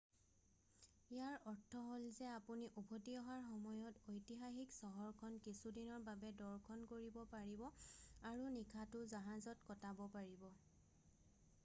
ইয়াৰ অৰ্থ হ'ল যে আপুনি উভতি অহাৰ সময়ত ঐতিহাসিক চহৰখন কিছুদিনৰ বাবে দৰ্শন কৰিব পাৰিব আৰু নিশাটো জাহাজত কটাব পাৰিব